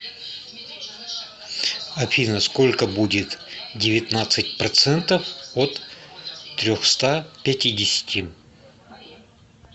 афина сколько будет девятнадцать процентов от трехста пятидесяти